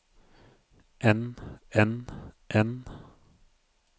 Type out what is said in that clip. enn enn enn